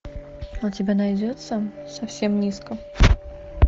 у тебя найдется совсем низко